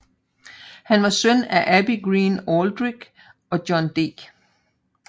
Han var søn af Abby Greene Aldrich og John D